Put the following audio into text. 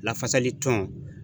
Lafasali tɔn.